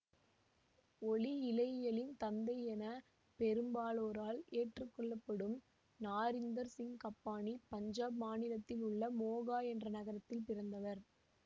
ஒளி இழையியலின் தந்தை என பெரும்பாலோரால் ஏற்றுக்கொள்ள படும் நாரிந்தர் சிங் கப்பானி பஞ்சாப் மாநிலத்திலுள்ள மோகா என்ற நகரத்தில் பிறந்தவர்